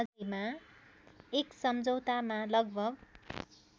एक समझौतामा लगभग